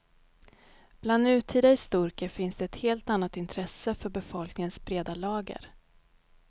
Bland nutida historiker finns det ett helt annat intresse för befolkningens breda lager.